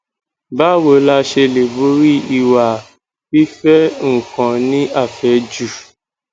báwo la ṣe lè borí ìwà fife nkan ni afeju